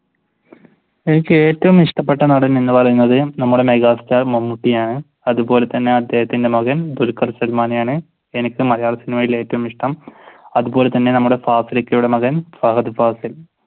എനിക്ക് ഏറ്റവും ഇഷ്ടപെട്ട നടൻ എന്ന് പറയുന്നത് നമ്മുടെ മെഗാസ്റ്റാർ മമ്മൂട്ടി ആണ്. അതുപോലെ തന്നെ അദ്ദേഹത്തിന്റെ മകൻ ദുൽഖുർ സല്മാനെയാണ് എനിക്ക് മലയാള സിനിമയിൽ ഏറ്റവും ഇഷ്ടം അതുപോലെ തന്നെ നമ്മുടെ ഫാസിലിക്കയുടെ മകൻ ഫഹദ് ഫാസിൽ.